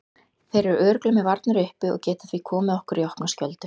Þeir eru örugglega með varnirnar uppi og geta því komið okkur í opna skjöldu.